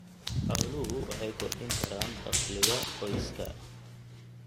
Xooluhu waxay kordhin karaan dakhliga qoyska.